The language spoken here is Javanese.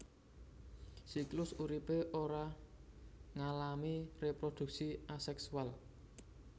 Siklus uripé ora ngalami reproduksi aseksual